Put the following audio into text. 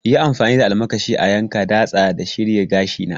Yi amfani da almakashi a yanka, datsa da shirya gashina!